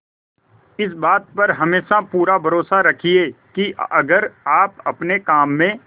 इस बात पर हमेशा पूरा भरोसा रखिये की अगर आप अपने काम में